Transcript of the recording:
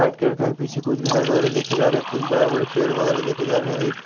white colour का ये पीछे कुछ घर वगैरह देखे जा रहे हैं कुछ बड़े बड़े पेड़ वगैरह देखे जा रहे हैं एक--